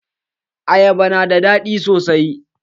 Ayaba na da daɗi sosai.